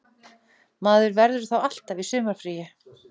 Maður verður þá alltaf í sumarfríi